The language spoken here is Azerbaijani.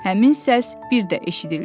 Həmin səs bir də eşidildi.